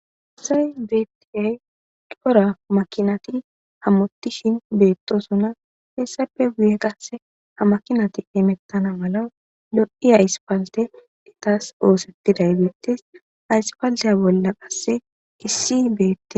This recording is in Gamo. Asays beeptiay qora makinati hammottishin beettosona heessappe guye qasse ha makinati imettana mala lod'i ayspalte etas oosettiday beettes haysfaalteya bolla qasse issi beette.